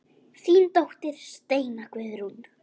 Þín dóttir Steina Guðrún.